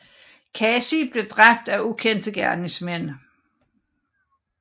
Kasi blev dræbt af ukendte gerningsmænd